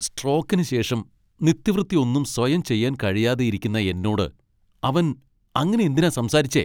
സ്ട്രോക്കിന് ശേഷം നിത്യവൃത്തി ഒന്നും സ്വയം ചെയ്യാൻ കഴിയാതെയിരിക്കുന്ന എന്നോട് അവൻ അങ്ങനെ എന്തിനാ സംസാരിച്ചേ?